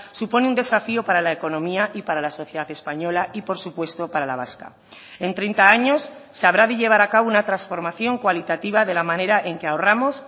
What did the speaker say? supone un desafío para la economía y para la sociedad española y por supuesto para la vasca en treinta años se habrá de llevar a cabo una transformación cualitativa de la manera en que ahorramos